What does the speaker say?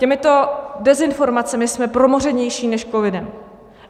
Těmito dezinformacemi jsme promořenější než covidem.